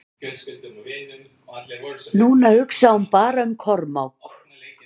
Núna hugsaði hún bara um Kormák.